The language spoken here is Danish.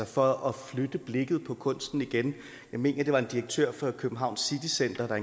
for at flytte blikket på kunsten igen jeg mener det var en direktør for københavns city center der